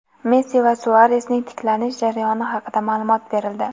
Messi va Suaresning tiklanish jarayoni haqida maʼlumot berildi.